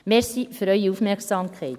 Danke für Ihre Aufmerksamkeit.